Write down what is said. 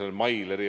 Härra Ratas!